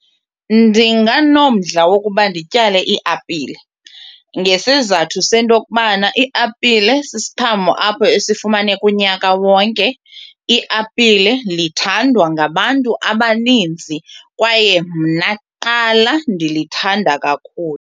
Ndinganomdla wokuba ndityale iiapile ngesizathu sento yokokubana iiapile sisiqhamo apho esifumaneka unyaka wonke. Iapile lithandwa ngabantu abaninzi kwaye mna kuqala ndilithanda kakhulu.